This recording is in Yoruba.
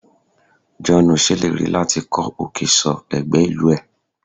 Joonu seleri lati ko okay so egbe ilu e